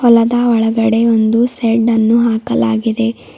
ನೆಲದ ಒಳಗಡೆ ಒಂದು ಶೆಡ್ಡನ್ನು ಹಾಕಲಾಗಿದೆ.